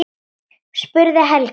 spurði Helga.